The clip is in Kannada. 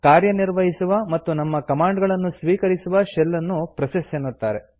ಕಾರ್ಯನಿರ್ವಹಿಸುವ ಮತ್ತು ನಮ್ಮ ಕಮಾಂಡ್ ಗಳನ್ನು ಸ್ವೀಕರಿಸುವ ಶೆಲ್ ನ್ನು ಪ್ರೋಸೆಸ್ ಎನ್ನುತ್ತಾರೆ